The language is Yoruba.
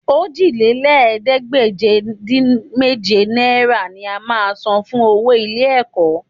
Òjìlélẹ́ẹ̀ẹ́dégbèje-dín-méje náírà ni a máa san fún owó ilé-ẹ̀kọ́